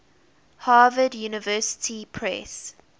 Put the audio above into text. harvard university press